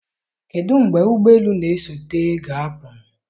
kedụ mgbe ụgbọ elu na-esote ga-apụ?